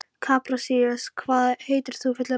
Kaprasíus, hvað heitir þú fullu nafni?